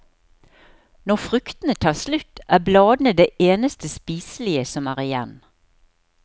Når fruktene tar slutt, er bladene det eneste spiselige som er igjen.